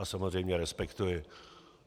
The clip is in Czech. A samozřejmě respektuji.